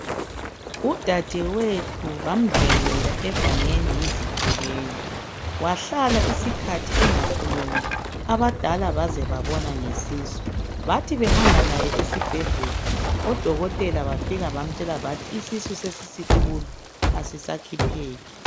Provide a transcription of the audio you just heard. Udadewethu bamdlwengula egangeni yizigebengu ,wahlala isikhathi engakhulumi abadala baze babona ngesisu. Bathi behamba laye esibhedlela odokotela bafika bamtshela bathi isisu sesisikhulu .Asisakhipheki.